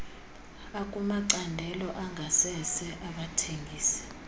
akumacandelo angasese abathengisa